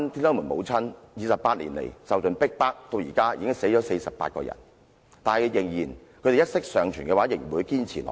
她們28年來受盡逼迫，至今48人已經去世，但她們一息尚存的話，仍然會堅持下去。